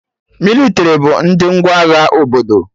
Mịlịtrị bụ ndị ngwa agha obodo